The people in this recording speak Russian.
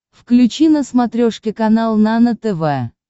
включи на смотрешке канал нано тв